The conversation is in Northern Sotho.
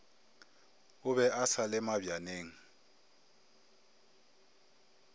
o be a sale mabjaneng